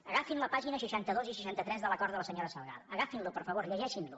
agafin les pàgines seixanta dos i seixanta tres de l’acord de la senyora salgado agafin les per favor llegeixin les